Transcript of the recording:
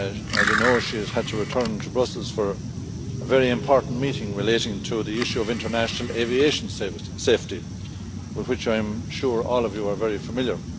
As you know, she has had to return to Brussels for a very important meeting relating to the issue of international aviation safety, with which I am sure all of you are very familiar.